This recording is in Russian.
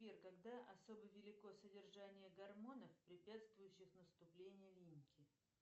сбер когда особо велико содержание гормонов препятствующих наступлению линьки